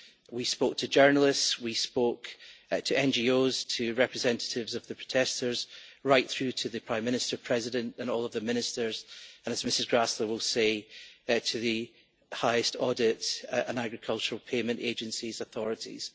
We spoke to journalists, to NGOs, to representatives of the protesters, right through to the Prime Minister, President and all of the Ministers and, as Ms Gräßle will say, to the highest audit and agricultural payment agencies' authorities.